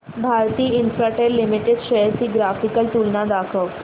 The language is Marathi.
भारती इन्फ्राटेल लिमिटेड शेअर्स ची ग्राफिकल तुलना दाखव